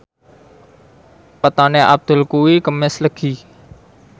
wetone Abdul kuwi Kemis Legi